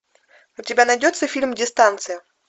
у тебя найдется фильм дистанция